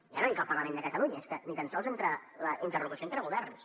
ja no dic al parlament de catalunya és que ni tan sols entre la interlocució entre governs